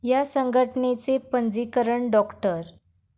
या संघटनेचे पंजीकरण डॉ.